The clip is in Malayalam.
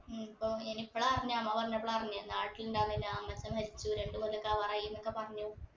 ഉം ഇപ്പൊ ഇനിപ്പളാ അറിഞ്ഞേ അമ്മ പറഞ്ഞപ്പളാ അറിഞ്ഞേ നാട്ടിലിണ്ടാവുന്നില്ല അമ്മച്ചൻ മരിച്ചു രണ്ട് കൊല്ലോക്കെ ആവാറായി എന്നൊക്കെ പറഞ്ഞു